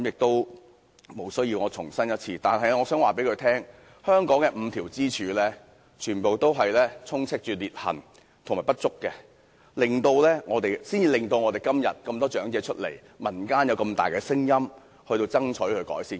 不過，我想告訴他，正因香港那5根支柱充斥裂痕和不足，今天才有那麼多長者站出來，民間才有這麼大的聲音爭取要求改善。